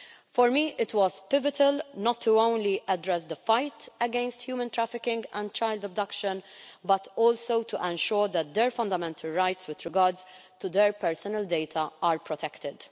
For me, it was pivotal not only to address the fight against human trafficking and child abduction but also to ensure that their fundamental rights with regard to their personal data are protected.